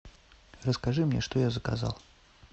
расскажи мне что я заказал